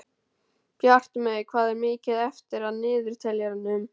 Bjartmey, hvað er mikið eftir af niðurteljaranum?